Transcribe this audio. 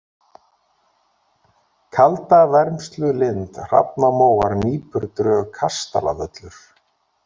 Kaldavermslulind, Hrafnamóar, Nípurdrög, Kastalavöllur